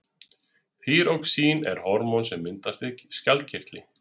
þýróxín er hormón sem myndast í skjaldkirtli